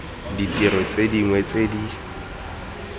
ditiro tse dingwe tse di